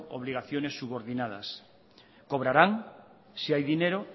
obligaciones subordinadas cobrarán si hay dinero